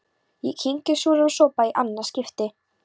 Ég kyngi súrum sopa í annað skipti.